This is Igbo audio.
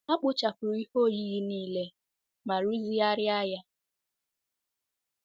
Ha kpochapụrụ ihe oyiyi niile ma rụzigharịa ya.